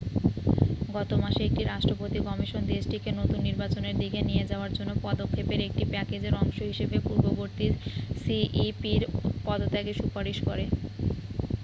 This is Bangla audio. গত মাসে একটি রাষ্ট্রপতি কমিশন দেশটিকে নতুন নির্বাচনের দিকে নিয়ে যাওয়ার জন্য পদক্ষেপের একটি প্যাকেজের অংশ হিসেবে পূর্ববর্তী সিইপি'র পদত্যাগের সুপারিশ করে